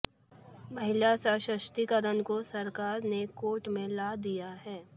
महिला सशक्तिकरण को सरकार ने एक कोर्ट में ला दिया है